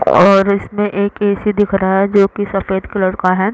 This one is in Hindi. और इसमें एक ए.सी दिख रहा है जो की सफ़ेद कलर का है।